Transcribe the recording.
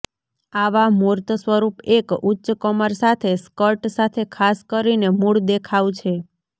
આવા મૂર્ત સ્વરૂપ એક ઉચ્ચ કમર સાથે સ્કર્ટ સાથે ખાસ કરીને મૂળ દેખાવ છે